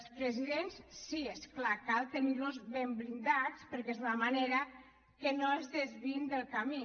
els presidents sí és clar cal tenir los ben blindats perquè és la manera que no es desviïn del camí